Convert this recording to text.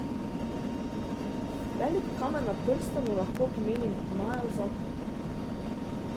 Velik kamen na prstanu lahko pomeni majav zakon.